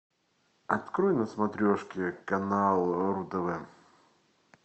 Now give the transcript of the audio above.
открой на смотрешке канал ру тв